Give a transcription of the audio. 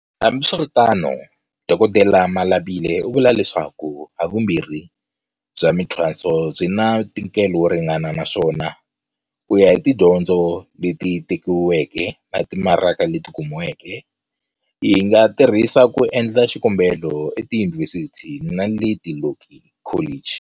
Hambiswiritano, Dkd Malapile u vula leswaku havumbirhi bya mithwaso byi na ntikelo wo ringana naswona, kuya hi tidyondzo leti tekiweke na timaraka leti kumiweke, yi nga tirhisiwa ku endla xikombelo etiyunivhesiti na le tikholichi.